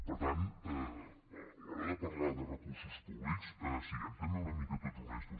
per tant a l’hora de parlar de recursos públics siguem també una mica tots honestos